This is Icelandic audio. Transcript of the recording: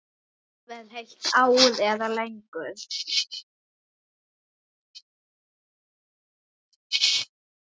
Jafnvel heilt ár eða lengur.